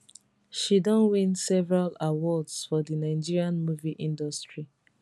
she don win several awards for di nigeria movie industry